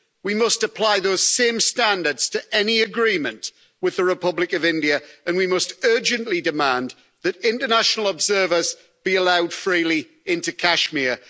We must apply those same standards to any agreement with the Republic of India and we must urgently demand that international observers be allowed freely into Kashmir.